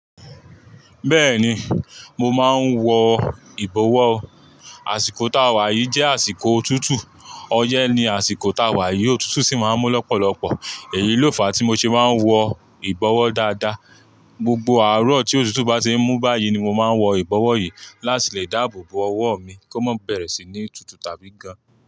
Bẹ́ẹ̀ni, mo máa ń wọ ìbọwọ́. Àsìkò táwà yìí jẹ́ àsìkò òtútù. Ọyẹ́ ni àsìkò táwà yìí, òtútù sì máa ń mú lọ́pọ̀lọpọ̀. Èyí ló fà á tí mo ṣe má ń wọ ìbọwọ́ dáadáa. Gbogbo àárọ̀ tí òtútù bá ṣe ń mú báyìí ni mo máa ń wọ ìbọwọ́ yìí láti lè dáàbò bo ọwọ́ mi kó má bẹ̀rẹ̀ sí ní tutù tàbí gan.